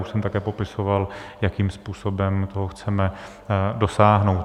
Už jsem také popisoval, jakým způsobem toho chceme dosáhnout.